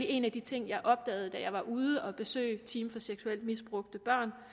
en af de ting jeg opdagede da jeg var ude at besøge team for seksuelt misbrugte børn